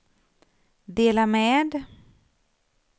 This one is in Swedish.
dela med